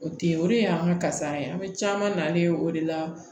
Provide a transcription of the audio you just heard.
O te ye o de ye an ka kasara ye an bɛ caman na ne ye o de la